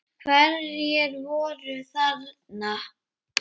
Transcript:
Hverjir voru þarna?